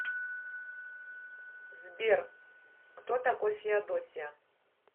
сбер кто такой феодосия